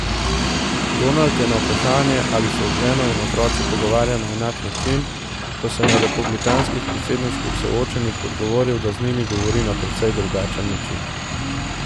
Donald je na vprašanje, ali se z ženo in otroci pogovarja na enak način, ko se na republikanskih predsedniških soočenjih, odgovoril, da z njimi govori na precej drugačen način.